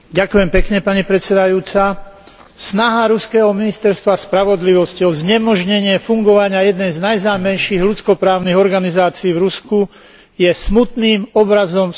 Snaha ruského ministerstva spravodlivosti o znemožnenie fungovania jednej z najznámejších ľudsko právnych organizácií v Rusku je smutným obrazom súčasného ruského režimu.